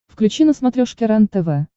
включи на смотрешке рентв